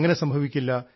അങ്ങനെ സംഭവിക്കില്ല